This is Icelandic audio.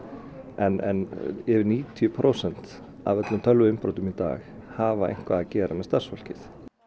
en um níutíu prósent af öllum tölvuinnbrotum í dag hafa eitthvað að gera með starfsfólkið